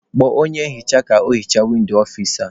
Kpọọ onye nhicha ka o hichaa windo ọfici a!